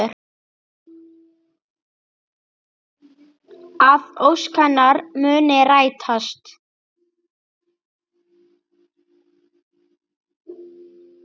Að ósk hennar muni rætast.